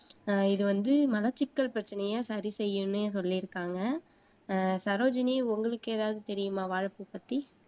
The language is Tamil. இது வந்து மலச்சிக்கல் பிரச்சனைய சரி செய்யும்னே சொல்லிருக்காங்க. அஹ் சரோஜினி உங்களுக்கு ஏதாவது தெரியுமா வாழைப்பூ பத்தி